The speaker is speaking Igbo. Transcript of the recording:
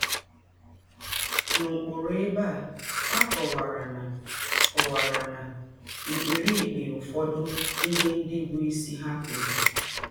N’ọkpụrụ ebe a, a kọwara ná kọwara ná mkpirikpi ụfọdụ ihe ndị bụ́ isi ha kweere.